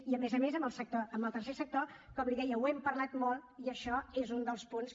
i a més a més amb el tercer sector com li deia ho hem parlat molt i això és un dels punts